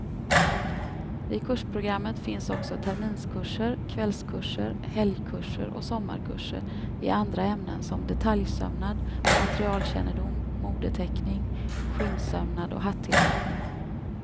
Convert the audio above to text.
I kursprogrammet finns också terminskurser, kvällskurser, helgkurser och sommarkurser i andra ämnen som detaljsömnad, materialkännedom, modeteckning, skinnsömnad och hattillverkning.